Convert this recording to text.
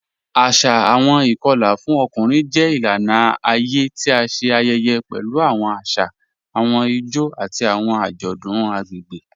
Asà ìkọla fún ọkùnrin jẹ ilànà ayé tí à ṣé ayẹyẹ pẹ̀lú awọn àṣà, awọn ìjó, àti awọn ajọdun agbegbe.